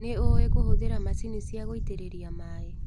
Nĩũĩ kũhũthĩra macini cia gũitĩrĩria maĩ.